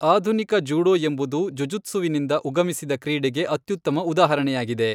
ಆಧುನಿಕ ಜೂಡೋ ಎಂಬುದು ಜುಜುತ್ಸುವಿನಿಂದ ಉಗಮಿಸಿದ ಕ್ರೀಡೆಗೆ ಅತ್ಯುತ್ತಮ ಉದಾಹರಣೆಯಾಗಿದೆ.